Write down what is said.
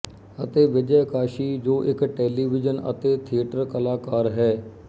ਅਤੇ ਵਿਜੈ ਕਾਸ਼ੀ ਜੋ ਇੱਕ ਟੈਲੀਵੀਜ਼ਨ ਅਤੇ ਥੀਏਟਰ ਕਲਾਕਾਰ ਹੈ